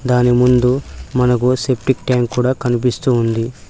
దాని ముందు మనకు సెప్టిక్ ట్యాంక్ కూడా కనిపిస్తూ ఉంది.